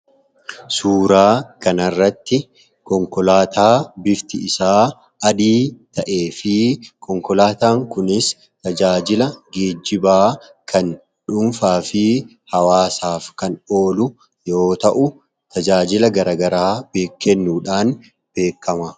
Suuraa kanarratti konkolaataa bifti isaa adii ta'ee fi konkolaataan kunis tajaajila geejjibaa kan dhuunfaa fi hawaasummaaf kan oolu tajaajila gara garaa kennuudhaan beekama.